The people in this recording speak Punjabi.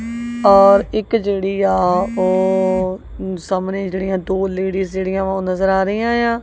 ਔਰ ਇੱਕ ਜਿਹੜੀ ਆ ਉਹ ਸਾਹਮਣੇ ਜਿਹੜੀਆਂ ਦੋ ਲੇਡੀਜ਼ ਜਿਹੜੀਆਂ ਵਾਂ ਉਹ ਨਜ਼ਰ ਆ ਰਹੀਆਂ ਆ।